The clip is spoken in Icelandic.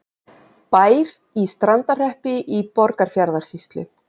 Bær í Strandarhreppi í Borgarfjarðarsýslu.